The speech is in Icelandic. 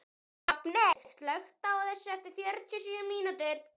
Hrafney, slökktu á þessu eftir fjörutíu og sjö mínútur.